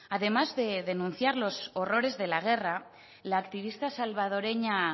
además de denunciar los horrores de la guerra la activista salvadoreña